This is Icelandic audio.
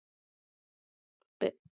Gerðar, hvað er í dagatalinu mínu í dag?